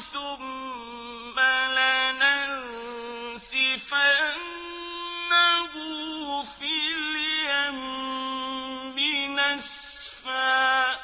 ثُمَّ لَنَنسِفَنَّهُ فِي الْيَمِّ نَسْفًا